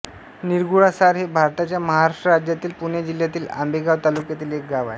निरगुडसार हे भारताच्या महाराष्ट्र राज्यातील पुणे जिल्ह्यातील आंबेगाव तालुक्यातील एक गाव आहे